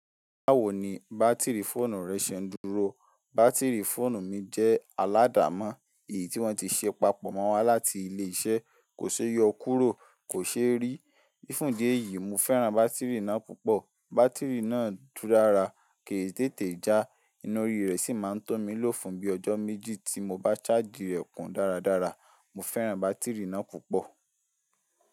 Báwo ni bátìrì fóònù rẹ ṣe ń dúró? Bátìrì fóònù mi jẹ́ aládàá mọ́. Èyí tí wọ́n ti ṣe papọ̀ mọ́ wa láti ilé iṣẹ́ kò ṣe é yọ kúrò, kò ṣe é rí. Ní fún díẹ̀ yìí, mo fẹ́ran bátìrì náà púpọ̀. Bátìrì náà dùn rara, kì í tètè já, ina orí rẹ̀ sì máa ń tọ́ mi ló fùn bí ọjọ́ méjì tí mo bá sáàjì rẹ̀ kún dáradára. Mo fẹ́ran bátìrì náà púpọ̀